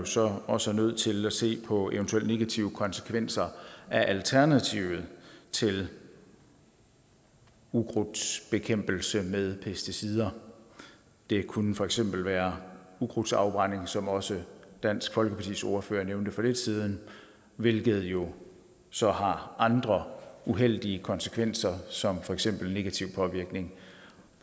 så også nødt til at se på eventuelle negative konsekvenser af alternativet til ukrudtsbekæmpelse med pesticider det kunne for eksempel være ukrudtsafbrænding som også dansk folkepartis ordfører nævnte for lidt siden hvilket jo så har andre uheldige konsekvenser som for eksempel negativ påvirkning